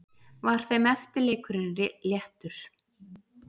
Var þeim eftirleikurinn léttur.